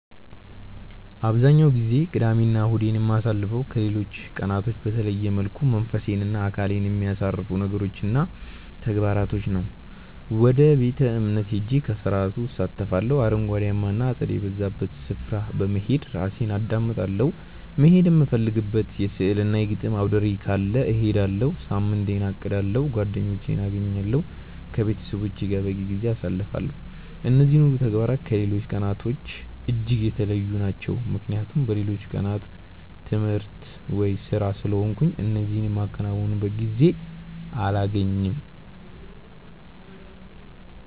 አብዛኛውን ጊዜ ቅዳሜ እና እሁዴን የማሳልፈው ከሌሎች ቀናቶች በተለየ መልኩ መንፈሴን እና አካሌን በሚያሳርፉ ነገሮች እና ተግባራቶች ነው። ወደ ቤተ-እምነት ሄጄ ከስርዓቱ እሳተፋለሁ፤ አረንጓዴያማ እና አጸድ የበዛባቸው ስፍራዎች በመሄድ ራሴን አዳምጣለሁ፤ መሄድ የምፈልግበት የሥዕል እና የግጥም አውደርዕይ ካለ እሄዳለሁ፤ ሳምንቴን አቅዳለሁ፤ ጓደኞቼን አገኛለሁ፤ ከቤተሰቦቼ ጋር በቂ ጊዜ አሳልፋለሁ። እነዚህ ሁሉ ተግባራት ከሌሎች ቀናቶች እጅግ የተለዩ ናቸው ምክንያቱም በሌሎቹ ቀናት ትምህርት ወይም ስራ ስለሆንኩ እነዚህ የማከናውንበት ጊዜ አላገኝም።